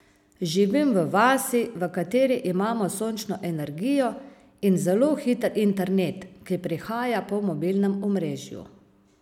Živim v vasi, v kateri imamo sončno energijo in zelo hiter internet, ki prihaja po mobilnem omrežju.